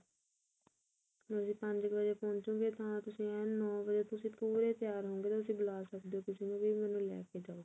ਤੁਸੀਂ ਪੰਜ ਕੁ ਵਜੇ ਪੋਹੁੰਚੋੰ ਗੇ ਤਾਂ ਤੁਸੀਂ ਏਨ ਨੋ ਵਜੇ ਪੂਰੇ ਤਿਆਰ ਰਹੋ ਗੇ ਤੁਸੀਂ ਬੁਲਾ ਸਕਦੇ ਓ ਕਿਸੇ ਨੂੰ ਵੀ ਮੈਨੂੰ ਲੈ ਕੇ ਜਾਉ